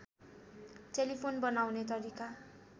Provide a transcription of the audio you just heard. telephone बनाउने तरिका